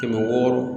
Kɛmɛ wɔɔrɔ